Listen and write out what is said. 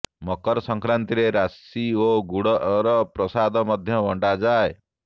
ମକର ସଂକ୍ରାନ୍ତି ରେ ରାଶି ଓ ଗୁଡର ପ୍ରସାଦ ମଧ୍ୟ ବଂଟା ଯାଏ